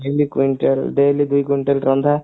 daily quintal ଦୁଇ quintal ରନ୍ଧା